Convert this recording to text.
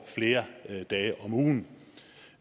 flere dage om ugen